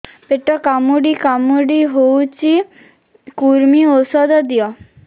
ପେଟ କାମୁଡି କାମୁଡି ହଉଚି କୂର୍ମୀ ଔଷଧ ଦିଅ